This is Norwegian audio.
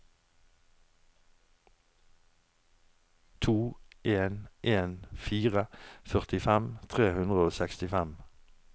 to en en fire førtifem tre hundre og sekstifem